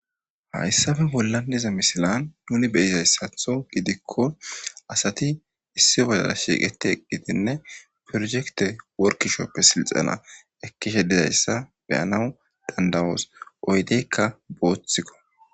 hayssafe bollanniza misilan nuni beyizayssatho gidikko asati issi bodala shiiqeti eqqitinne prosekte workishoppe silxana ekkishe dizayssa beyanaw dandawoos oydeykka booththikko